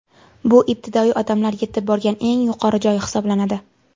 Bu ibtidoiy odamlar yetib borgan eng yuqori joy hisoblanadi.